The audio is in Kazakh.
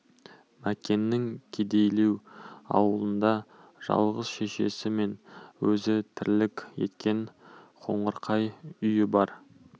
мәкеннің кедейлеу аулында жалғыз шешесі мен өзі тірлік еткен қоңырқай үйі бар